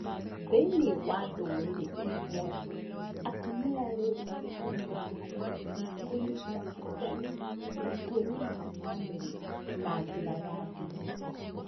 Thĩinĩ wa ndũrĩrĩ imwe, atumia rĩu nĩ metĩkĩrĩtio kũnyita itemi matua-inĩ ma bamĩrĩ na njĩra ya ndini.